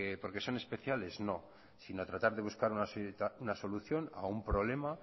porque son especiales no sino a tratar de buscar una solución a un problema